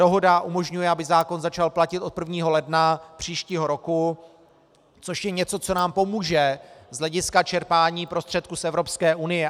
Dohoda umožňuje, aby zákon začal platit od 1. ledna příštího roku, což je něco, co nám pomůže z hlediska čerpání prostředků z Evropské unie.